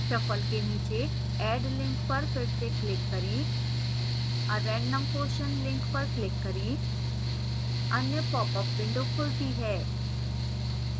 shuffle के नीचे add link पर फिर से click करें a random question link पर click करें अन्य पॉपअप विंडो खुलती है